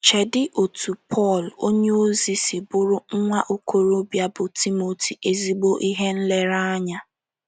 Cheedị otú Pọl onyeozi si bụụrụ nwa okorobịa bụ́ Timoti ezigbo ihe nlereanya.